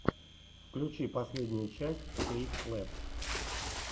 включи последнюю часть кейт клэпп